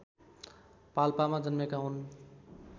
पाल्पामा जन्मेका हुन्